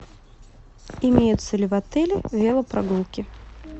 имеются ли в отеле велопрогулки